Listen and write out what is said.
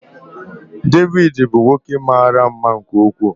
David bụ nwoke mara mma nke ukwuu.